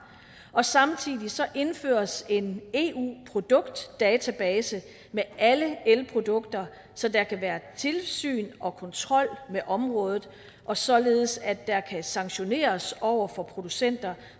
og samtidig indføres en eu produktdatabase med alle elprodukter så der kan være tilsyn og kontrol med området og således at der kan sanktioneres over for producenter